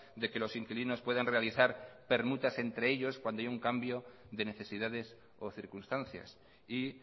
de que los inquilinos puedan realizar permutas entre ellos cuando hay un cambio de necesidades o circunstancias y